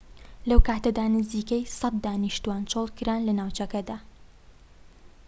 لەو کاتەدا نزیکەی ١٠٠ دانیشتوان چۆڵکران لە ناوچەکەدا